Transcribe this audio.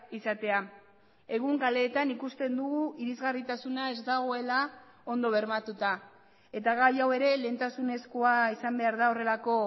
izatea egun kaleetan ikusten dugu irisgarritasuna ez dagoela ondo bermatuta eta gai hau ere lehentasunezkoa izan behar da horrelako